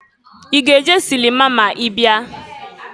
I ga-eje silima ma ị bịa?